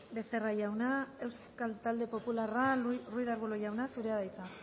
becerra jauna euskal talde popularra ruiz de arbulo jauna zurea da hitza